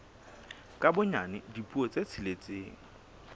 ka bonyane dipuo tse tsheletseng